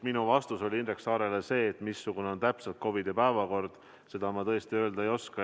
Minu vastus Indrek Saarele oli see, et seda, missugune täpselt on valitsuses COVID-i teema arutamise päevakord, ma tõesti öelda ei oska.